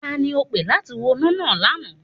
Ta ni o pè láti woná náà lánàá?